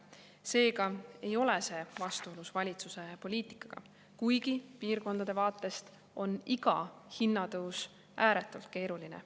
Seega ei ole see vastuolus valitsuse poliitikaga, kuigi piirkondade vaatest on iga hinnatõus ääretult keeruline.